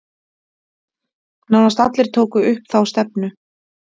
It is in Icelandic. Nánast allir tóku upp þá stefnu